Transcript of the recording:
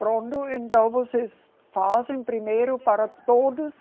Pronto, então vocês fazem primeiro para todos